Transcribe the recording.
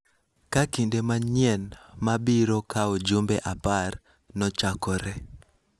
ka kinde manyien ma biro kawo jumbe apar, nochakore.